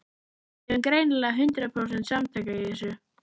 Við erum greinilega hundrað prósent samtaka í þessu.